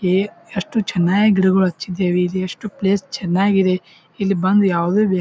A ಎಷ್ಟು ಚೆನ್ನಾಗಿ ಗಿಡಗಳು ಹಚ್ಚಿದಿವಿ ಇಲ್ಲಿ ಎಷ್ಟು ಪ್ಲೇಸ್ ಚೆನ್ನಾಗಿ ಇದೆ ಇಲ್ ಬಂದು ಯಾವುದೇ ವೇಹಿ--